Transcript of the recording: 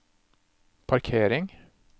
parkering